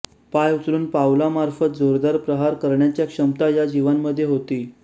पाय उचलून पावला मार्फत जोरदार प्रहार करण्याच्या क्षमता या जीवांमध्ये होती